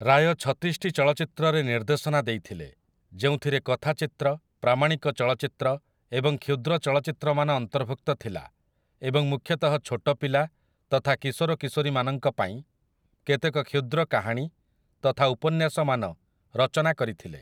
ରାୟ ଛତିଶଟି ଚଳଚ୍ଚିତ୍ରରେ ନିର୍ଦ୍ଦେଶନା ଦେଇଥିଲେ, ଯେଉଁଥିରେ କଥାଚିତ୍ର, ପ୍ରାମାଣିକ ଚଳଚ୍ଚିତ୍ର ଏବଂ କ୍ଷୁଦ୍ର ଚଳଚ୍ଚିତ୍ରମାନ ଅନ୍ତର୍ଭୁକ୍ତ ଥିଲା ଏବଂ ମୁଖ୍ୟତଃ ଛୋଟପିଲା ତଥା କିଶୋରକିଶୋରୀମାନଙ୍କ ପାଇଁ, କେତେକ କ୍ଷୁଦ୍ର କାହାଣୀ ତଥା ଉପନ୍ୟାସମାନ ରଚନା କରିଥିଲେ ।